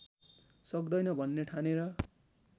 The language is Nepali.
सक्दैन भन्ने ठानेर